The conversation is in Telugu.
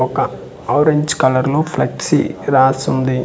ఒక ఆరెంజ్ కలర్ లో ఫ్లెక్సీ రాసుంది .